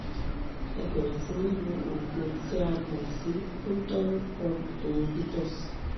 ẹ bẹ̀rẹ̀ sí ní lo òògùn tí a mọ̀ sí proton pump inhibitors